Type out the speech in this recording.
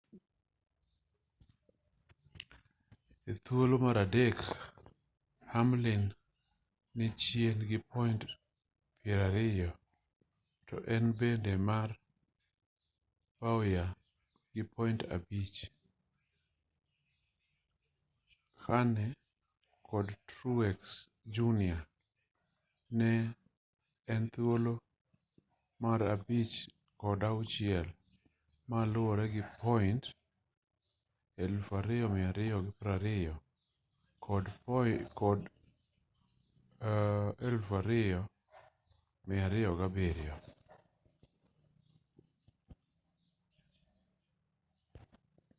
e thuolo mar adek hamlin ni chien gi point piero ariyo to en mbele mar bowyer gi point abich kahne kod truex jr ni e thuolo mar abich kod auchiel moluwore gi point 2,220 kod 2,207